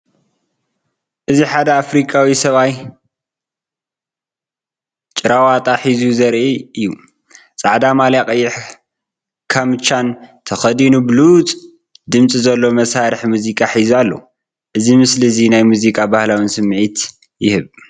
እዚ ሓደ ኣፍሪቃዊ ሰብኣይ ጭራ ዋጣ ሒዙ ዘርኢ እዩ። ጻዕዳ ማልያን ቀይሕ ካምቻን ተኸዲኑ ብሉጽ ድምጺ ዘለዎ መሳርሒ ሙዚቃ ሒዙ ኣሎ። እዚ ምስሊ እዚ ናይ ሙዚቃን ባህልን ስምዒት ይህብ።